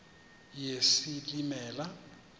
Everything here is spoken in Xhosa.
yesilimela